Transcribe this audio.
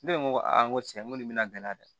Ne ko aa n ko cɛ ko nin bɛna gɛlɛya dɛ